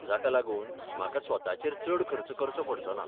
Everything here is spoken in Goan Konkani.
जाका लागून, म्हाका स्वताचेर चड खर्च करचो पडचो ना.